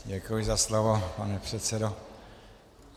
Děkuji za slovo, pane předsedo.